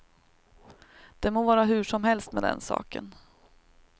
Det må vara hur som helst med den saken.